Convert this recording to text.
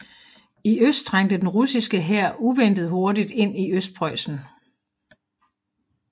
I øst trængte den russiske hær uventet hurtigt ind i Østpreussen